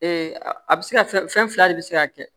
a bɛ se ka fɛn fila de bɛ se ka kɛ